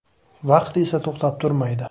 Vaqt esa to‘xtab turmaydi.